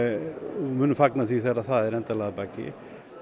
og munum fagna því þegar það er endanlega að baki